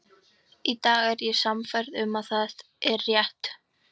Í dag er ég sannfærð um að það er rétt.